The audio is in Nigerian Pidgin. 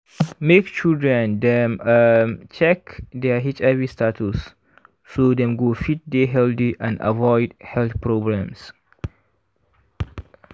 make children dem um check their hiv status so dem go fit dey healthy and avoid health problems